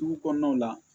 Dugu kɔnɔnaw la